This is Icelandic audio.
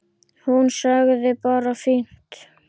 Hún sagði bara fínt.